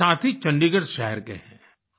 एक साथी चंडीगढ़ शहर के हैं